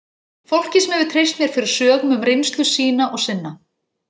Fólki sem hefur treyst mér fyrir sögum um reynslu sína og sinna.